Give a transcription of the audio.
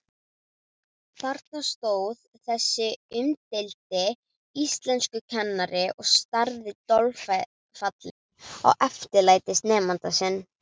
Þarna stóð þessi umdeildi íslenskukennari og starði dolfallinn á eftirlætisnemandann sinn.